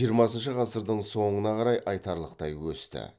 жиырмасыншы ғасырдың соңына қарай айтарлықтай өсті